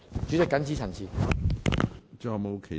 主席，謹此陳辭。